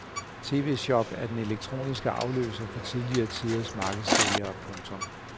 TVShop er den elektroniske afløser for tidligere tiders markedssælgere. punktum